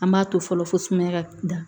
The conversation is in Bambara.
An b'a to fɔlɔ fosumaya ka da